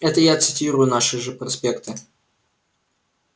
это я цитирую наши же проспекты